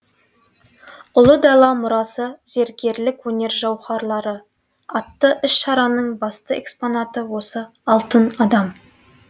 ұлы дала мұрасы зергерлік өнер жауһарлары атты іс шараның басты экспонаты осы алтын адам